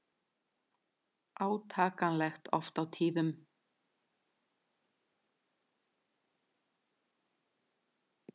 Átakanlegt oft á tíðum.